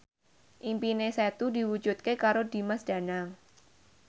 impine Setu diwujudke karo Dimas Danang